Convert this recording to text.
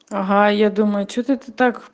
ага я думаю что это ты так